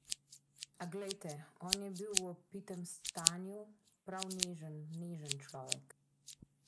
A, glejte, on je bil v opitem stanju prav nežen, nežen človek.